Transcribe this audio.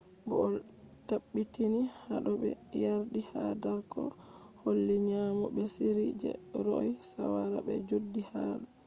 bo o tabbitini hado be yardi ha dark oh holli nyamo be sirru je roe shawara be jodi hado